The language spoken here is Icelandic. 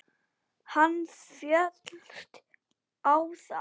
Hann féllst á það.